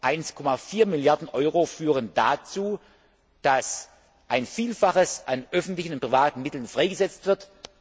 1,4 Milliarden Euro führen dazu, dass ein Vielfaches an öffentlichen und privaten Mitteln freigesetzt wird.